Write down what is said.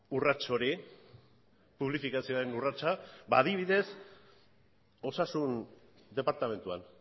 urrats hori publifikazioaren urratsa ba adibidez osasun departamentuan